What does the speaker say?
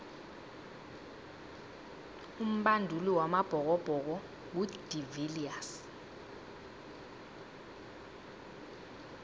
umbanduli wamabhokobhoko ngu de viliers